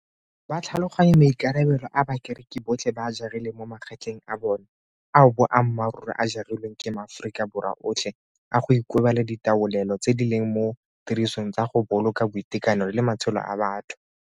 Ba tlhaloganya maikarabelo a bakereki botlhe ba a jarileng mo magetleng a bona ao boammaruri a ja rilweng ke maAforika Borwa otlhe a go ikobela ditaolelo tse di leng mo tirisong tsa go boloka boitekanelo le matshelo a batho.